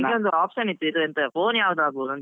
ಒಂದು option ಇವು, ಎಂತ phone ಯಾವ್ದು ಆಗ್ಬಹುದು ಅಂತ.